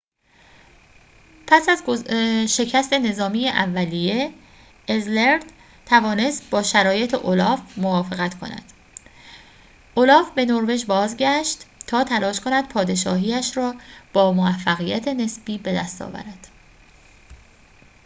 پس از شکست نظامی اولیه اذلرد توانست با شرایط اولاف موافقت کند اولاف به نروژ بازگشت تا تلاش کند پادشاهی‌اش را با موفقیت نسبی بدست آورد